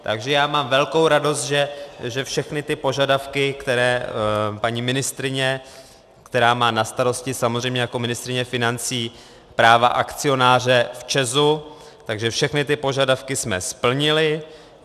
Takže já mám velkou radost, že všechny ty požadavky, které paní ministryně, která má na starosti samozřejmě jako ministryně financí práva akcionáře v ČEZu, tak všechny ty požadavky jsme splnili.